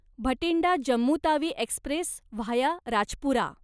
Bathinda Jammu Tawi express via Rajpura